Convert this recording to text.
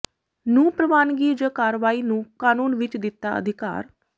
ਨੂੰ ਪ੍ਰਵਾਨਗੀ ਜ ਕਾਰਵਾਈ ਨੂੰ ਕਾਨੂੰਨ ਵਿੱਚ ਦਿੱਤਾ ਅਿਧਕਾਰ